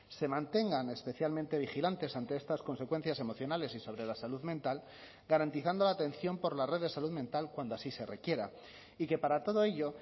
se mantengan especialmente vigilantes ante estas consecuencias emocionales y sobre la salud mental garantizando la atención por la red de salud mental cuando así se requiera y que para todo ello